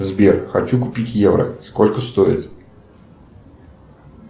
сбер хочу купить евро сколько стоит